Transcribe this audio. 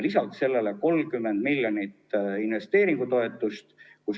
Peale selle on 30 miljonit investeeringutoetust.